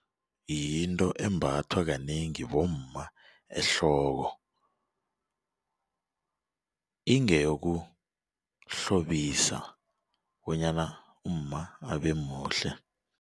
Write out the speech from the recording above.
Yinto embathwa kanengi bomma ehloko ingeyokuhlobisa bonyana umma abemuhle.